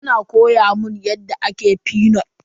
Tana koya mun yadda ake fenut.